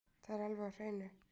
Það er alveg á hreinu